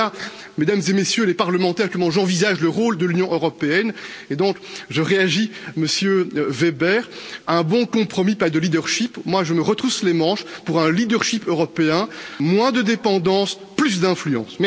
Voilà, Mesdames et Messieurs les parlementaires, comment j'envisage le rôle de l'Union européenne et donc je réagis, Monsieur Weber, un bon compromis, pas de leadership, moi je me retrousse les manches pour un leadership européen moins de dépendance, plus d'influence.